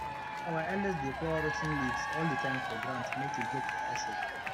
our elders dey pour rot ten leaves all the time for ground make e get better shape